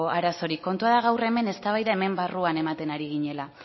arazorik kontua da gaur eztabaida hemen barruan ematen ari ginela